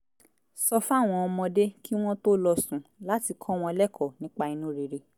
sọ fáwọn ọmọdé kí wọ́n tó lọ sùn láti kọ́ wọn lẹ́kọ̀ọ́ nípa inú rere